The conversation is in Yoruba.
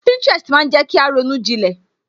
Pinterest maa jẹ kí a ronú jilẹ̀